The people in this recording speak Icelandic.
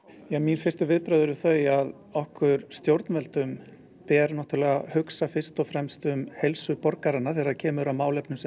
mín fyrstu viðbrögð eru þau okkur stjórnvöldum ber náttúrulega að hugsa fyrst og femst umheilsu borgaranna þegar kemur að málefnum sem